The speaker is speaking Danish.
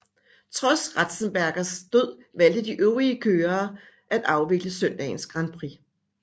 Trods Ratzenbergers død valgte de øvrige kørere at afvikle søndagens Grand Prix